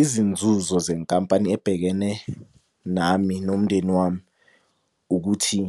Izinzuzo zenkampani ebhekene nami nomndeni wami ukuthi